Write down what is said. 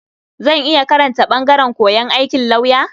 Zan iya karanta ɓangaren koyon aikin lauya.